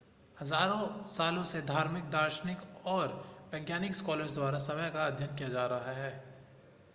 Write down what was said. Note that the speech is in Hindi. हज़ारों सालों से धार्मिक दार्शनिक और वैज्ञानिक स्कॉलर्स द्वारा समय का अध्ययन किया जा रहा है